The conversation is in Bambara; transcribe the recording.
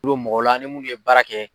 mɔgɔ la an ni mun ye baara kɛ.